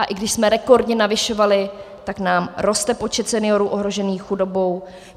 A i když jsme rekordně navyšovali, tak nám roste počet seniorů ohrožených chudobou.